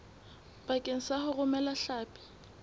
bakeng sa ho romela hlapi